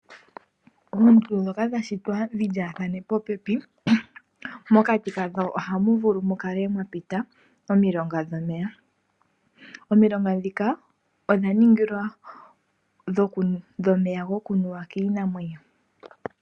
Oondundu ndhoka dha shitwa dhi lyaathane popepi, pokati kadho ohapu vulu mu kale mwa pita omilonga dhomeya. Omilonga ndhika ohadhi kala dhina omeya go kunuwa kiinamwenyo.